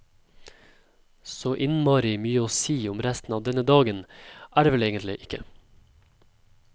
Så innmarri mye å si om resten av denne dagen, er det vel egentlig ikke.